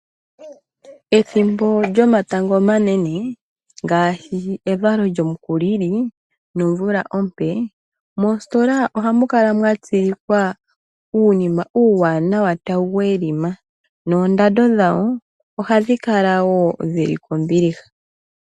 Ethimbo lyomatango omanene ngaashi evalo lyomukulili nomvula ompee, moositola ohamu kala mwa tsilikwa uunima uuwanawa ta wu welima noondando dhawo ohadhi kala wo dhili kombiliha.